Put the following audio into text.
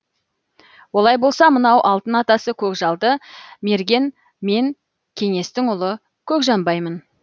олай болса мынау алтын атасы көкжалды мерген мен кеңестің ұлы көкжанбаймын